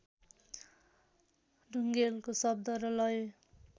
ढुङेलको शब्द र लय